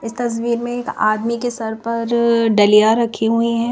इस तस्वीर में आदमी के सर पर डलिया रखी हुई है।